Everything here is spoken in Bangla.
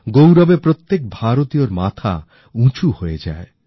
আত্মাভিমানে প্রত্যেক ভারতীয়র মাথা উঁচু হয়ে যায়